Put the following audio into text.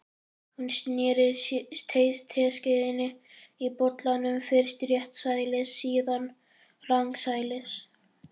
Hún sneri teskeiðinni í bollanum, fyrst réttsælis, síðan rangsælis.